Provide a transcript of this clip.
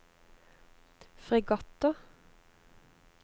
fregatter